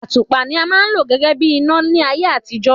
Àtùpà ni a ma ń lò gégé bí ìná láyé àtijó